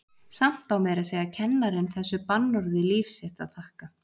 Samt á meira að segja kennarinn þessu bannorði líf sitt að þakka.